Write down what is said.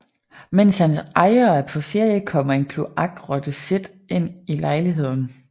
Mens hans ejer er på ferie kommer en kloakrotte Sid ind i lejligheden